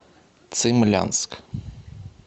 цимлянск